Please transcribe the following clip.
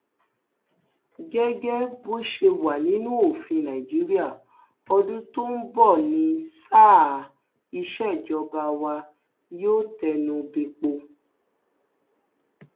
gẹgẹ bó ṣe wà nínú òfin nàìjíríà ọdún tó ń bọ ní sáà ìsejọba wàá yóò tẹnu bẹpọ